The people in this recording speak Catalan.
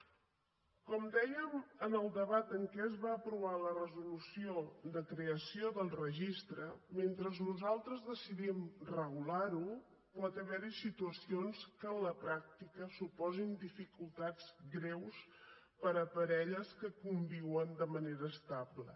com dèiem en el debat en què es va aprovar la resolució de creació del registre mentre nosaltres decidim regular ho pot haver hi situacions que en la pràctica suposin dificultats greus per a parelles que conviuen de manera estable